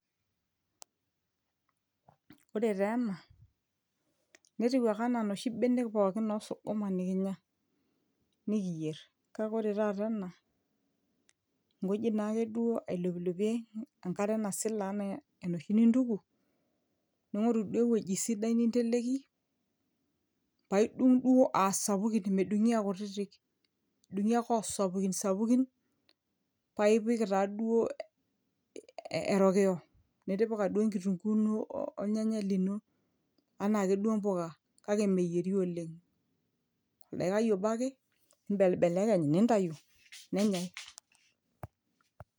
ore taa ena netiu ake enaa noshi benek pookin osukuma nikinya nikiyerr kake ore taata ena nkuji naa ake dduo ailopilopie enkare nasila ana enoshi nintuku ning'oru duo ewueji sidai ninteleki paidung duo asapukin medung'i akutitik edung'i ake asapukisapukin paipik taaduo erokiyo nitipika duo enkitunguu ino olnyanyae lino anaa ake duo impuka kake meyieri oleng oldaikai obo ake nimbelbelekeny nintayu nenyae.